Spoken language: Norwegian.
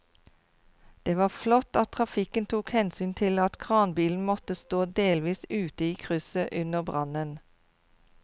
Det var flott at trafikken tok hensyn til at kranbilen måtte stå delvis ute i krysset under brannen.